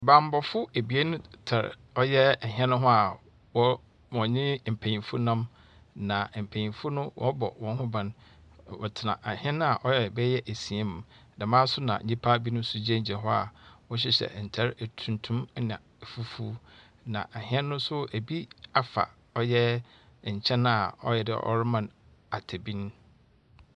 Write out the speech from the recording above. Bambɔfo ebien tar ɔyɛ hɛn ho a wɔ wɔnye mpanyimfo nam, na mpanyimfo no wɔrobɔ hɔn ho ban na wɔtsena ahɛn a ɔyɛ bɛyɛ esia mu. Dɛmara so na nyimpa binom gyinagyina hɔ a wɔhyɛ ntar etuntum na fufuw. Na ahɛn no so bi afa ɔyɛ nkyɛn a ɔyɛ dɛ ɔreman atabir.